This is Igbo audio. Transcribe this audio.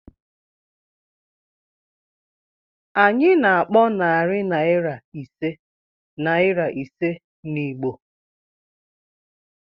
Anyị na-akpọ narị naira ise naịra ise na Igbo.